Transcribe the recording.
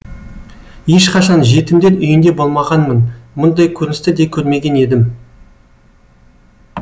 ешқашан жетімдер үйінде болмағанмын мұндай көріністі де көрмеген едім